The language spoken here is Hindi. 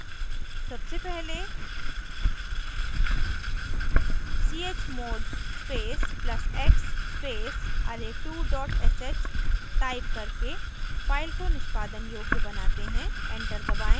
सबसे पहले chmod space plus x space array2 sh type करके file को निष्पादन योग्य बनाते हैं enter दबाएं